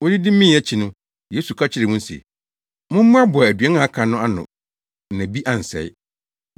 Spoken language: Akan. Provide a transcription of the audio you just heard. Wodidi mee akyi no, Yesu ka kyerɛɛ wɔn se, “Mommoaboa aduan a aka no ano na bi ansɛe.”